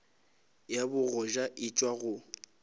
ya bogoja e tšwa go